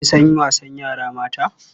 Kin san wasannin yara mata?